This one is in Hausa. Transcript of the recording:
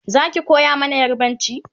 Zaki koya mana yarbanci?